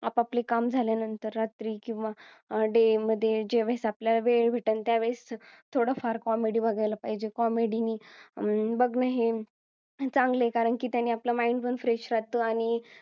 आपापले काम झाल्यानंतर रात्री किंवा डे मध्ये जे वेळेस आपल्याला वेळ भेटेल त्यावेळेस थोडा फार comedy बघायला पाहिजे comedy नी अं बघणं हे चांगल कारण की त्यांनी आपलं mind पण fresh राहत आणि